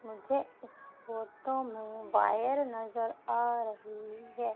मुझे इस फोटो में वॉयर नजर आ रही है।